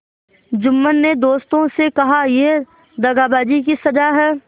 जुम्मन ने दोस्तों से कहायह दगाबाजी की सजा है